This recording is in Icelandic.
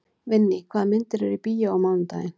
Vinný, hvaða myndir eru í bíó á mánudaginn?